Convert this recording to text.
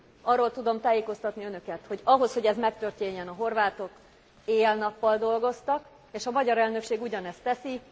Arról tudom tájékoztatni önöket, hogy ahhoz, hogy ez megtörténjen, a horvátok éjjel nappal dolgoztak és a magyar elnökség ugyanezt teszi.